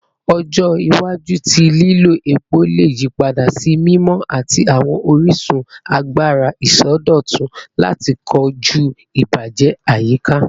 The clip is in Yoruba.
Ọjọ iwaju ti lilo epo le yipada si mimọ ati awọn orisun agbara isọdọtun lati koju ibajẹ ayika